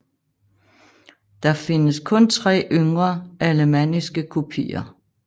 Der findes kun tre yngre alemanniske kopier